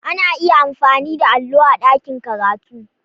Ana iya amfani da allo a ɗakin karatu.